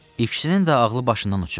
İkisinin də ağlı başından uçub.